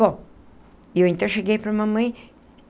Bom, eu então cheguei para a mamãe.